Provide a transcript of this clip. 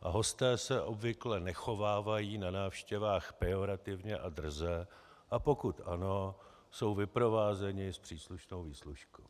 a hosté se obvykle nechovávají na návštěvách pejorativně a drze, a pokud ano, jsou vyprovázeni s příslušnou výslužkou.